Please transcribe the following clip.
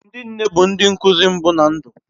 Ndi nne bu ndi nkuzi mmbu na ndi